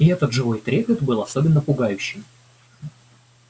и этот живой трепет был особенно пугающим